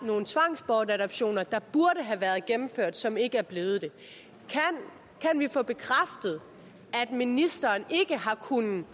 nogle tvangsbortadoptioner der burde have været gennemført som ikke er blevet det kan vi få bekræftet at ministeren ikke har kunnet